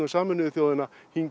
Sameinuðu þjóðanna